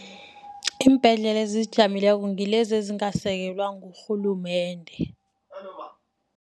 Iimbhedlela ezizijameleko ngilezi ezingasekelwa ngurhulumende.